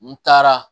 N taara